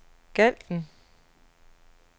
Galten